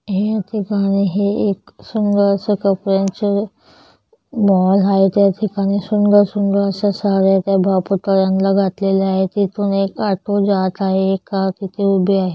ही एक गाव आहे एक सुंदर असा कपड्यांच मॉल आहे त्या ठिकाणी सुंदर-सुंदर अस्या साड्या आहेत त्या बा पुतळ्यांना घातलेलं आहेत तेथून एक ऑटो जात आहे एक कार तिथे उभे आहे.